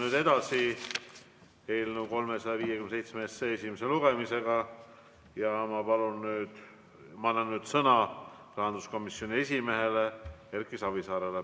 Läheme edasi eelnõu 357 esimese lugemisega ja ma annan nüüd sõna rahanduskomisjoni esimehele Erki Savisaarele.